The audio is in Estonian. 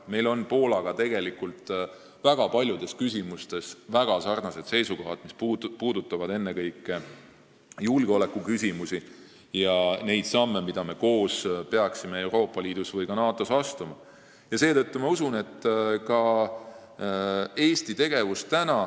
Meil on tegelikult Poolaga väga paljudes küsimustes väga sarnased seisukohad, mis puudutavad ennekõike julgeolekut ja neid samme, mida me peaksime koos Euroopas Liidus või ka NATO-s astuma.